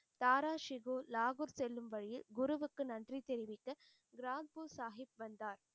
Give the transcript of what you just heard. தாரா ஷிகோ லாகூர் செல்லும் வழியில் குருவுக்கு நன்றி தெரிவித்து ரான்பூர் சாஹிப் வந்தார்.